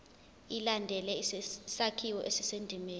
ilandele isakhiwo esisendimeni